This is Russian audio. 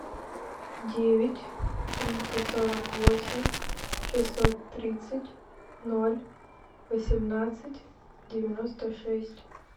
девять триста сорок восемь шестьсот тридцать ноль восемнадцать девяносто шесть